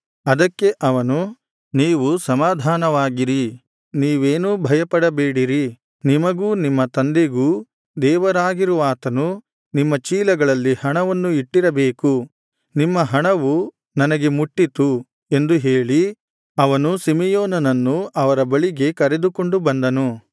ಅದಕ್ಕೆ ಅವನು ನೀವು ಸಮಾಧಾನವಾಗಿರಿ ನೀವೇನೂ ಭಯಪಡಬೇಡಿರಿ ನಿಮಗೂ ನಿಮ್ಮ ತಂದೆಗೂ ದೇವರಾಗಿರುವಾತನು ನಿಮ್ಮ ಚೀಲಗಳಲ್ಲಿ ಹಣವನ್ನು ಇಟ್ಟಿರಬೇಕು ನಿಮ್ಮ ಹಣವು ನನಗೆ ಮುಟ್ಟಿತು ಎಂದು ಹೇಳಿ ಅವನು ಸಿಮೆಯೋನನನ್ನು ಅವರ ಬಳಿಗೆ ಕರೆದುಕೊಂಡು ಬಂದನು